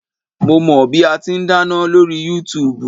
Mo mọ bí ati n dáná lórí Yúutùbù